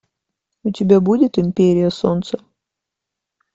у тебя будет империя солнца